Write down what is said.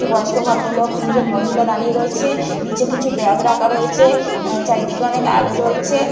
একটি বয়স্ক ভদ্রলোক তিনজন মহিলা দাঁড়িয়ে রয়েছে নিচে কিছু ব্যাগ রাখা রয়েছে অ্যা চারিদিকে অনেক আলো জ্বলছে।